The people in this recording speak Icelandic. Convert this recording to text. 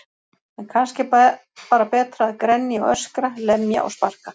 En kannski er bara betra að grenja og öskra, lemja og sparka.